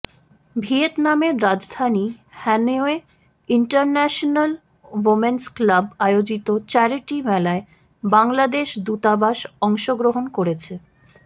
ভিয়েতনামের রাজধানী হ্যানয়ে ইন্টারন্যাশনাল ওম্যানস ক্লাব আয়োজিত চ্যারিটি মেলায় বাংলাদেশ দূতাবাস অংশগ্রহণ করেছে